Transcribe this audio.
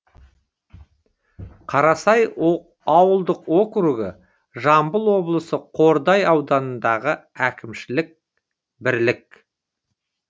қарасай ауылдық округі жамбыл облысы қордай ауданындағы әкімшілік бірлік